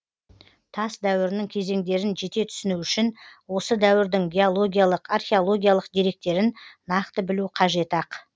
тас дәуірінің кезеңдерін жете түсіну үшін осы дәуірдің геологиялық археологиялық деректерін нақты білу қажет ақ